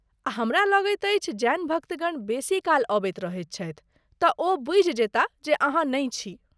आ हमरा लगैत अछि जैन भक्तगण बेसी काल अबैत रहैत छथि तँ ओ बूझि जेताह जे अहाँ नहि छी।